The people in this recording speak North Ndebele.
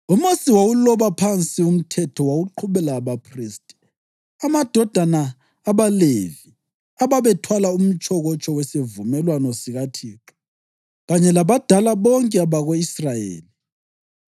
UMosi wawuloba phansi umthetho wawuqhubela abaphristi, amadodana abaLevi, ababethwala umtshokotsho wesivumelwano sikaThixo, kanye labadala bonke bako-Israyeli.